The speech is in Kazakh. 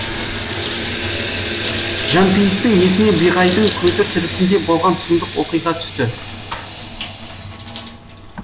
жанпейістің есіне биғайдың көзі тірісінде болған сұмдық оқиға түсті